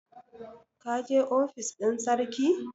ka je ofis ɗin sarki!